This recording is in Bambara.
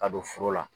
Ka don foro la